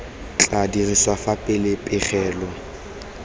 tla dirisiwa fa fela pegelo